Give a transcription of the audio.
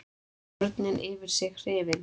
Börnin yfir sig hrifin.